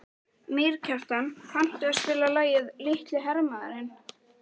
Mýrkjartan, kanntu að spila lagið „Litli hermaðurinn“?